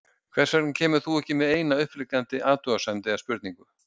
Hvers vegna kemur þú ekki með eina upplífgandi athugasemd eða spurningu?